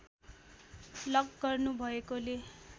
lock गर्नु भएकोले